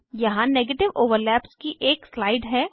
यहाँ negative overlaps की एक स्लाइड है